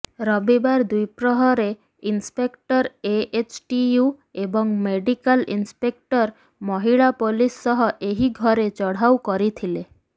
ରବିବାର ଦ୍ବିପ୍ରହରେ inspector AHTU ଏବଂ ମେଡିକାଲ ଇନସ୍ପେକ୍ଟର ମହିଳା ପୋଲିସ୍ ସହ ଏହି ଘରେ ଚଢ଼ାଉ କରିଥିଲେ